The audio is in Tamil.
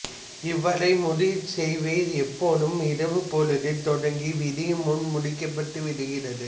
இவ்வைரமுடிச் சேவை இப்போதும் இரவுப்பொழுதிலே தொடங்கி விடியும் முன் முடிக்கப்பட்டுவிடுகிறது